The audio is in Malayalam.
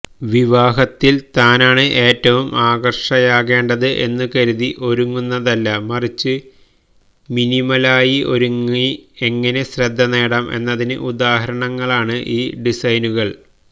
വിവഹദിനത്തില് താനാണ് ഏറ്റവും ആകര്ഷകയാകേണ്ടത് എന്നുകരുതി ഒരുങ്ങുന്നതല്ല മറിച്ച് മിനിമലായി ഒരുങ്ങി എങ്ങനെ ശ്രദ്ധനേടാം എന്നതിന് ഉദ്ദാഹരണങ്ങളാണ് ഈ ഡിസൈനുകള്